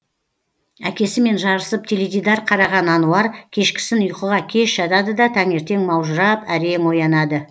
әкесімен жарысып теледидар қараған ануар кешкісін ұйқыға кеш жатады да таңертең маужырап әрең оянады